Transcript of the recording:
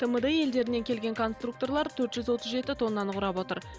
тмд елдерінен келген конструкторлар төрт жүз отыз жеті тоннаны құрап отыр